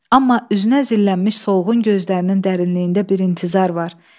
Amma üzünə zillənmiş solğun gözlərinin dərinliyində bir intizar var.